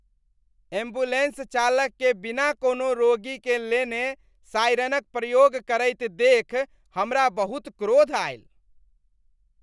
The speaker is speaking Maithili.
एम्बुलेंस चालककेँ बिना कोनो रोगीकेँ लेने सायरनक प्रयोग करैत देखि हमरा बहुत क्रोध आयल।